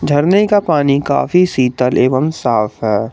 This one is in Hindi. झरने का पानी काफी शीतल एवं साफ है।